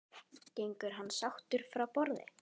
Gengur hann sáttur frá borði?